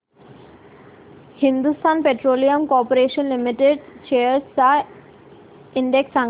Hindustan petroleum corporation limited shares चा index सांगा